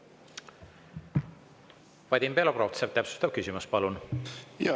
Vadim Belobrovtsev, täpsustav küsimus, palun!